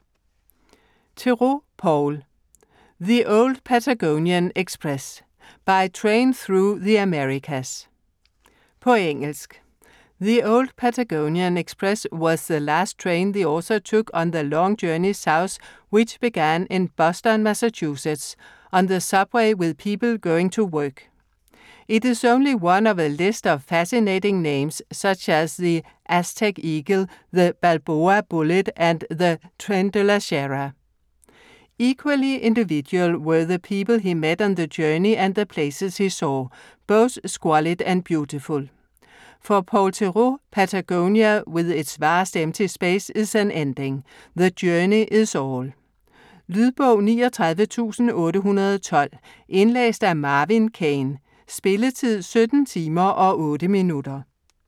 Theroux, Paul: The old Patagonian express: by train through the Americas På engelsk. The Old Patagonian Express was the last train the author took on the long journey south which began in Boston, Massachusetts, on the subway with people going to work. It is only one of a list of fascinating names such as the Aztec Eagle, the Balboa Bullet and the Tren de la Sierra. Equally individual were the people he met on the journey and the places he saw, both squalid and beautiful. For Paul Theroux, Patagonia, with its vast empty space, is an ending - the journey is all. Lydbog 39812 Indlæst af Marvin Kane Spilletid: 17 timer, 8 minutter.